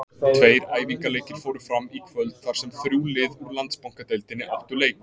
Tveir æfingaleikir fóru fram í kvöld þar sem þrjú lið úr Landsbankadeildinni áttu leik.